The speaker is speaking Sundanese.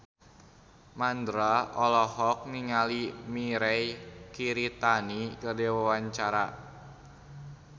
Mandra olohok ningali Mirei Kiritani keur diwawancara